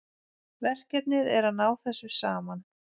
Verkefnið er að ná þessu saman